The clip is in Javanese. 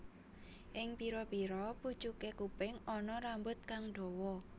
Ing pira pira pucuke kuping ana rambut kang dawa